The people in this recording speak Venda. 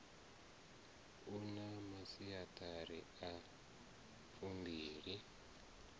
i na masiaṱari a fumbili